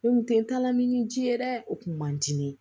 Ne kun tɛ taa lamini ni ji ye dɛ o kun man di ne ye